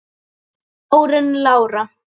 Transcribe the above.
Þín Jórunn Lára.